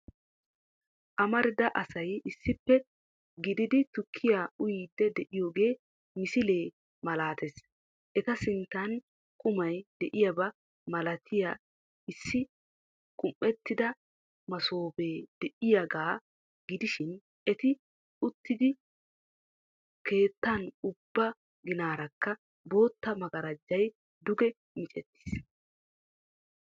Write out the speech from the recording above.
Amarida asay issippe gididi tukkiya uyiiddi de"iyogaa misilee malaatees Eta sinttan qumay de"iyoba malatiya issi qumettida masoobee de"iyagaa gidishin eti uttidi keettan ubba ginaarakka bootta magarajay duge micettiis